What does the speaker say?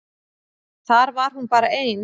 Þar var hún bara ein.